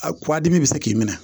A kuwa dimi bɛ se k'i minɛ